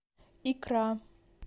икра